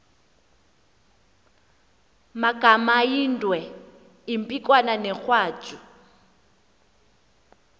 magamaindwe impikwana negwatyu